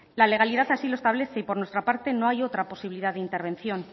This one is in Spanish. la legalidad así lo establece y por nuestra parte no hay otra posibilidad de intervención